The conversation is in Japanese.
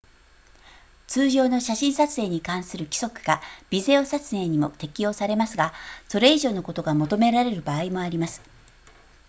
通常の写真撮影に関する規則がビデオ撮影にも適用されますがそれ以上のことが求められる場合もあります